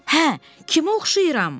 Hə, kimə oxşayıram?